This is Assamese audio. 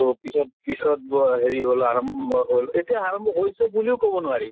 তʼ পিছত পিছত ব হেৰি হল আৰম্ভ হল। এতিয়া আৰম্ভ হৈছে বুলিও কʼব নোৱাৰি।